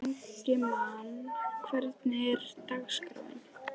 Ingimagn, hvernig er dagskráin?